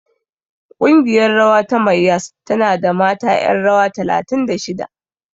Ƙungiyar rawa ta Mayyas tana da mata ƴan rawa talatin da shida.